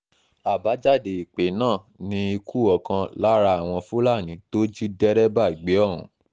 àbájáde ìpè náà ni ikú ọ̀kan lára àwọn fúlàní tó jí dẹ́rẹ́bà gbé ohùn